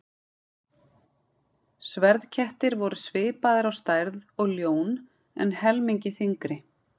Sverðkettir voru svipaðir á stærð og ljón en helmingi þyngri.